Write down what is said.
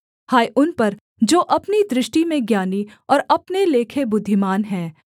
हाय उन पर जो अपनी दृष्टि में ज्ञानी और अपने लेखे बुद्धिमान हैं